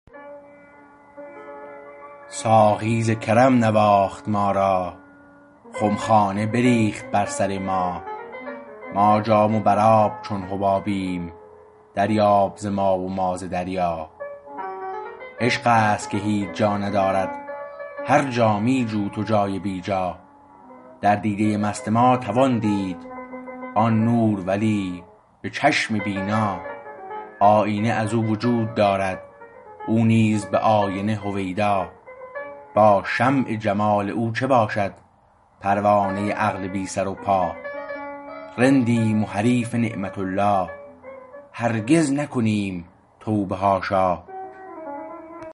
ساقی ز کرم نواخت ما را خمخانه بریخت بر سر ما ما جام و بر آب چون حبابیم دریاب ز ما و ما ز دریا عشقست که هیچ جا ندارد هر جا می جو تو جای بی جا در دیده مست ما توان دید آن نور ولی به چشم بینا آیینه از او وجود دارد او نیز به آینه هویدا با شمع جمال او چه باشد پروانه عقل بی سر و پا رندیم و حریف نعمت الله هرگز نکنیم توبه حاشا